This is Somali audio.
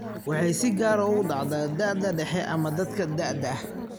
Waxay si gaar ah ugu dhacdaa da'da dhexe ama dadka da'da ah.